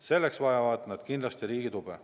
Selleks vajavad nad kindlasti riigi tuge.